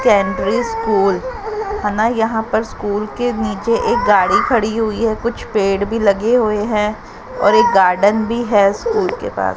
School है ना यहां पर स्कूल के नीचे एक गाड़ी खड़ी हुई है कुछ पेड़ भी लगे हुए हैं और एक गार्डन भी है स्कूल के पास।